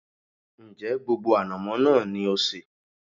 Ń jẹ́ gbogbo ànàmọ́ náà ni ó sé?